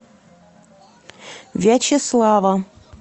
вячеслава